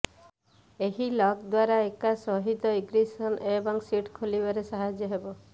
ଏହି ଲକ୍ ଦ୍ବାରା ଏକା ସହିତ ଇଗ୍ରିସନ୍ ଏବଂ ସିଟ୍ ଖୋଲିବାରେ ସାହାଯ୍ୟ ହେବ